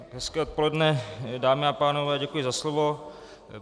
Hezké odpoledne, dámy a pánové, děkuji za slovo.